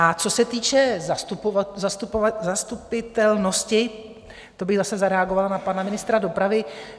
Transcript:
A co se týče zastupitelnosti, to bych zase zareagovala na pana ministra dopravy.